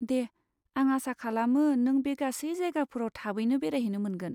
दे, आं आसा खालामो नों बे गासै जायगाफोराव थाबैनो बेरायहैनो मोनगोन।